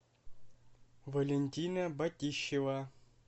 валентина батищева